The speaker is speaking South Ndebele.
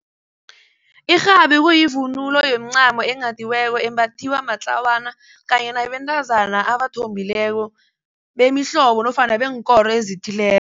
Irhabi kuyivunulo yomincamo enghadiweko embathiwa matlawana kanye nabentazana abathombileko bemihlobo nofana beenkoro ezithileko.